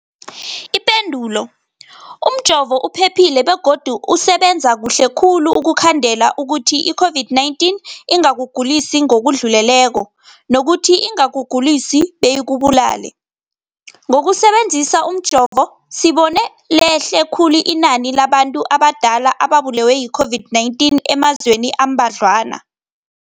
Ipendulo, umjovo uphephile begodu usebenza kuhle khulu ukukhandela ukuthi i-COVID-19 ingakugulisi ngokudluleleko, nokuthi ingakugulisi beyikubulale. Ngokusebe nzisa umjovo, sibone lehle khulu inani labantu abadala ababulewe yi-COVID-19 emazweni ambadlwana.